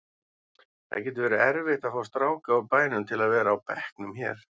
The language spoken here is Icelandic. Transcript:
Það getur verið erfitt að fá stráka úr bænum til að vera á bekknum hér.